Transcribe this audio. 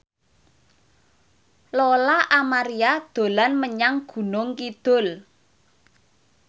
Lola Amaria dolan menyang Gunung Kidul